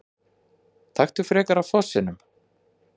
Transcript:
Taktu frekar af fossinum!